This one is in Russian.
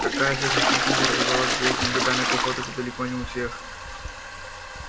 такая сверхчувствительность развивалась долгими годами походов и далеко не у всех